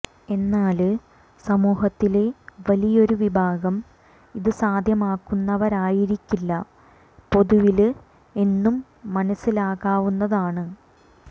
എന്നാല് സമൂഹത്തിലെ വലിയൊരു വിഭാഗം ഇത് സാധ്യമാകുന്നവരായിരിക്കില്ല പൊതുവില് എന്നും മനസ്സിലാക്കാവുന്നതാണ്